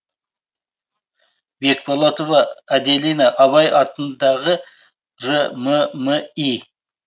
бекболатова аделина абай атындағы рмми